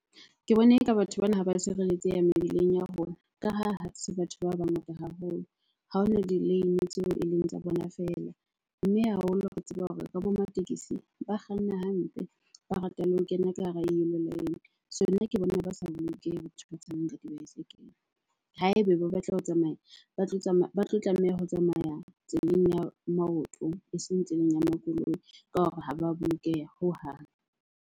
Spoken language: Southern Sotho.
Ke bona eka batho bana ha ba sireletseha mebileng ya rona, ka ha se batho ba bangata haholo. Ha ho na di-lane tseo e leng tsa bona . Mme haholo re tseba hore ra bo ramatekesi ba kganna hampe, ba rata le ho kena ka hara . So nna ke bona ba sa bolokeha batho ba tsamayang ka dibaesekele. Haebe ba batla ho tsamaya, ba tlo ba tlo tlameha ho tsamaya tseleng ya maoto eseng tseleng ya makoloi, ka hore ha ba bolokeha hohang.